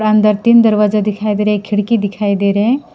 अंदर तीन दरवाजा दिखाई दे रहे एक खिड़की दिखाई दे रहे हैं।